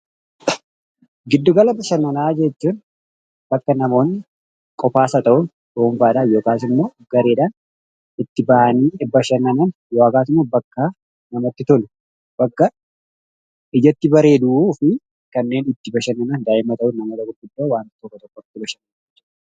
Giddugala bashannanaa jechuun bakka namoonni qofa isaa ta'uun/ dhuunfaadhaan yookaas immoo gareedhaan itti ba'anii bashannanaan yookaas immoo bakka namatti tolu, bakka ijaatti bareedu fi kannen ittu bashannanaan da'immaa ta'u, namoota gurgudaa waantoota tokko tokkoo itti bashannanii.